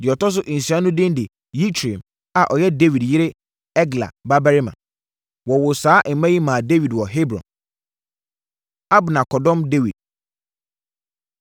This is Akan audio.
Na deɛ ɔtɔ so nsia no din de Yitream a ɔyɛ Dawid yere Egla babarima. Wɔwoo saa mma yi maa Dawid wɔ Hebron. Abner Kɔdɔm Dawid